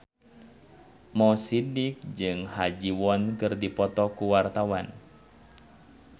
Mo Sidik jeung Ha Ji Won keur dipoto ku wartawan